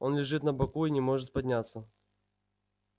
он лежит на боку и не может подняться